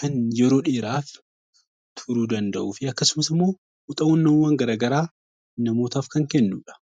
kan yeroo dheeraaf turuu danda'uu fi akkasumas immoo muuxannoowwan gara garaa namootaaf kan kennu dha.